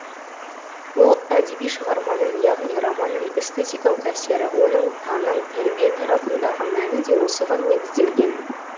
бұл әдеби шығарманың яғни романның эстетикалық әсері оның таным тәрбие тарапындағы мәні де осыған негізделген